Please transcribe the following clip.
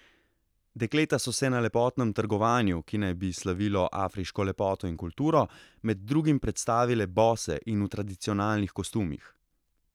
Dekleta so se na lepotnem trgovanju, ki naj bi slavilo afriško lepoto in kulturo, med drugim predstavile bose in v tradicionalnih kostumih.